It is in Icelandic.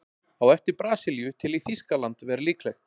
Á eftir Brasilíu tel ég Þýskaland vera líklegt.